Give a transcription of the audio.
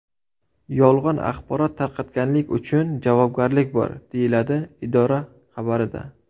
Yolg‘on axborot tarqatganlik uchun javobgarlik bor”, deyiladi idora xabarida.